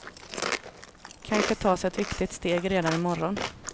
Kanske tas ett viktigt steg redan i morgon.